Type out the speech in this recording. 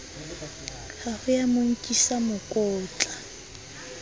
ho ya mo nkisa mokotla